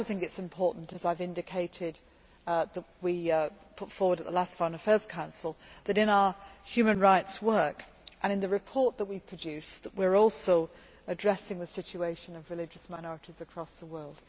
I also think it is important, as I have indicated that we put forward at the last Foreign Affairs Council, that in our human rights work and in the report that we produced, we are also addressing the situation of religious minorities across the world.